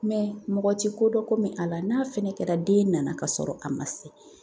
mɔgɔ ti kodɔn komi ala, n'a fɛnɛ kɛra den nana ka sɔrɔ a ma se